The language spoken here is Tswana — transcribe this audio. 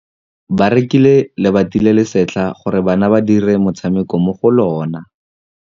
Ba rekile lebati le le setlha gore bana ba dire motshameko mo go lona.